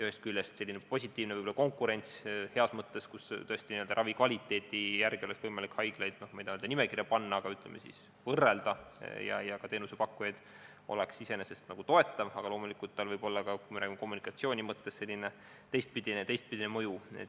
Ühest küljest oleks võib-olla selline positiivne konkurents heas mõttes, kui tõesti ravi kvaliteedi järgi oleks võimalik haiglaid ja ka teenusepakkujaid, ütleme, võrrelda , iseenesest toetav, aga loomulikult võib tal olla ka, kui me räägime kommunikatsiooni mõttes, teistpidine mõju.